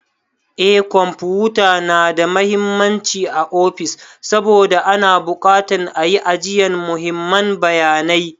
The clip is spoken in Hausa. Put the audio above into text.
Eh kwamfuta na da mahimmanci ã ofis saboda ana bukatan ã yi ajiyan muhimman bayanai.